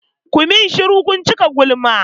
Ku min shuru! kun cika gulma.